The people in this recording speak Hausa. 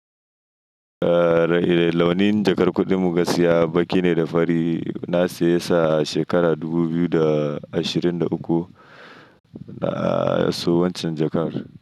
Eh launin jakar kuɗin muka siya baƙi ne da fari. Na siye sa a shekarar dubu biyu da ashirin da uku a kasuwar cin jakar.